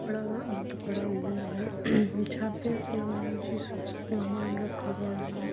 बड़ा बंद पड़ा रूम है जहां पे ऐसा लगा है जिस पे कुछ सामान रखा हुआ है।